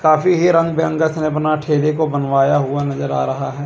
काफी ही रंग बिरंगा सा अपना ठेले को बनवाया हुआ नजर आ रहा है।